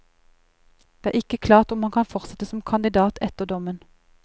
Det er ikke klart om han kan fortsette som kandidat etter dommen.